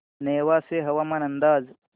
नेवासे हवामान अंदाज